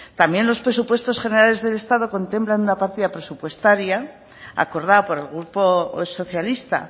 también los presupuestos generales del estado contemplan una partida presupuestaria acordada por el grupo socialista